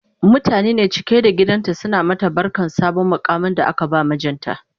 mutane ne cike da gidan suna mata barkan sabon muƙamin da aka ba mijinta